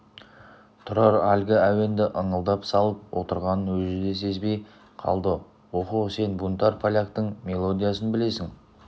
тұрар әлгі әуенді ыңылдап салып отырғанын өзі де сезбей қалды оһо сен бунтарь поляктың мелодиясын білесің